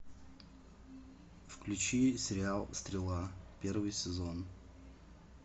включи сериал стрела первый сезон